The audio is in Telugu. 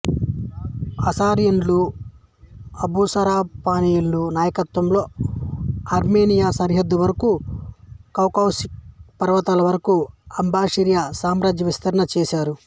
అస్సిరియన్లు అసురబనిపాలు నాయకత్వంలో ఆర్మేనియా సరిహద్దు వరకు కౌకాససు పర్వతాల వరకు అస్సిరియా సామ్రాజ్య విస్తరణ చేసారు